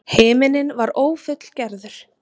Himinninn var ófullgerður.